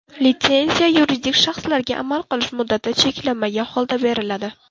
Litsenziya yuridik shaxslarga amal qilish muddati cheklanmagan holda beriladi.